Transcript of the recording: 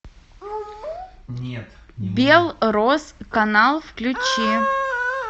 белрос канал включи